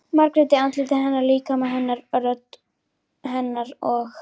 Margréti- andliti hennar, líkama hennar, rödd hennar- og